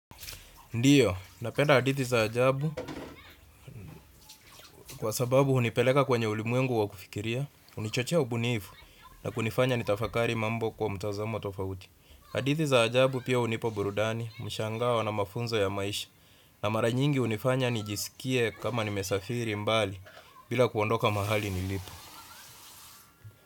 Ndiyo, napenda hadithi za ajabu kwa sababu unipeleka kwenye ulimwengu wa kufikiria, unichochea ubunifu na kunifanya ni tafakari mambo kwa mtazamo tofauti. Hadithi za ajabu pia hunipa burudani, mshangao na mafunzo ya maisha na mara nyingi unifanya nijisikie kama nimesafiri mbali bila kuondoka mahali nilipo.